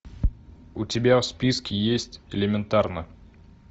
у тебя в списке есть элементарно